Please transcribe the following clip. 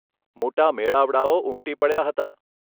મોટા મેળાવડાઓ ઉમટી પડ્યા હતા